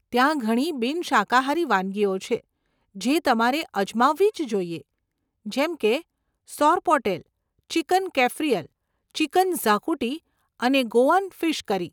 ત્યાં ઘણી બિન શાકાહારી વાનગીઓ છે, જે તમારે અજમાવવી જ જોઇએ, જેમ કે સોરપોટેલ, ચિકન કેફ્રીઅલ, ચિકન ઝાકુટી અને ગોઆન ફિશ કરી.